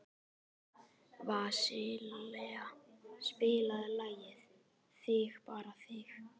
Vasilia, spilaðu lagið „Þig bara þig“.